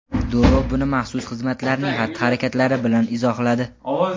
Durov buni maxsus xizmatlarning xatti-harakatlari bilan izohladi.